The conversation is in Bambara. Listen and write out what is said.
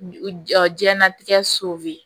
Jiɲɛnatigɛ so bɛ